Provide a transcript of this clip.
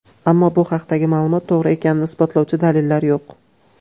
Ammo bu haqdagi ma’lumot to‘g‘ri ekanini isbotlovchi dalillar yo‘q.